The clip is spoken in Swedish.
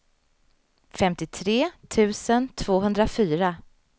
femtiotre tusen tvåhundrafyra